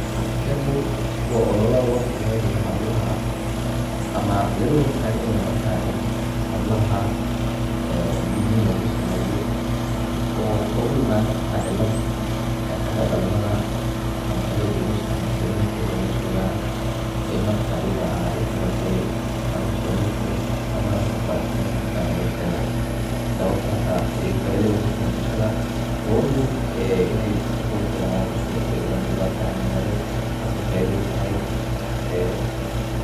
Kani waa olola losameyniya hablaha ama laga hor tagan yahay marka in hablaha en gudnin in lugu sameyo ogu iman karta cilad eh xaga dhalmada ama xaga gogosha marka ninkooda lajogana ay marka ayada ah wixii larabay anu sameyn karin ama anu kufaraxsaneyn markaa nolosheda, sababtaas ay i faido ogu tahay bulshada. gabadhu en in ay si qurux badan udhasho iyadon wax dhibatana marin, taasi faida utahay ee